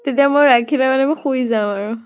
এতিয়া মই ৰাখিলে মানে মই শুই যাম আৰু।